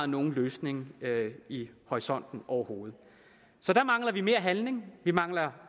nogen løsning i horisonten overhovedet så der mangler vi mere handling vi mangler